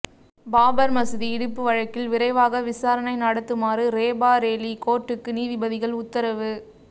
பாபர் மசூதி இடிப்பு வழக்கில் விரைவாக விசாரணை நடத்துமாறு ரேபரேலி கோர்ட்டுக்கு நீதிபதிகள் உத்தரவு